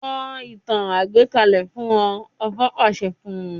Sọ ìtàn àgbékalẹ̀ fún wọn, ọba pàṣẹ fún un.